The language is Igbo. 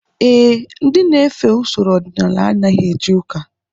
Ee, ndị na-efe usoro ọdịnala anaghị eje ụka